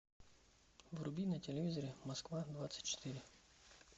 вруби на телевизоре москва двадцать четыре